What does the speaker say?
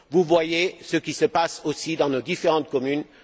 Voyez ce qui se passe aussi dans nos différentes communes!